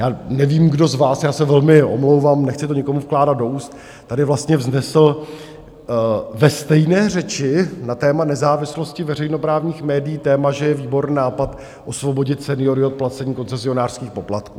Já nevím, kdo z vás, já se velmi omlouvám, nechci to někomu vkládat do úst, tady vlastně vznesl ve stejné řeči na téma nezávislosti veřejnoprávních médií, téma, že je výborný nápad osvobodit seniory od placení koncesionářských poplatků.